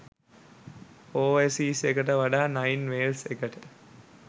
oasis එකට වඩා Nine Wells එකට